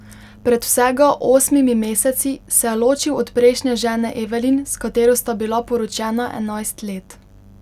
Pred vsega osmimi meseci se je ločil od prejšnje žene Evelin, s katero sta bila poročena enajst let.